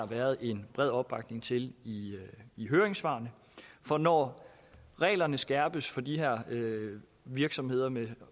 været en bred opbakning til i høringssvarene for når reglerne skærpes for de her virksomheder med